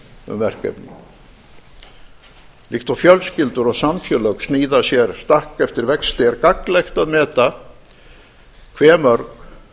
um verkefni líkt og fjölskyldur og samfélög sníða sér stakk eftir vexti er gagnlegt að meta hve mörg